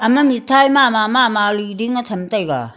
ama mithai mama li ding cham taiga.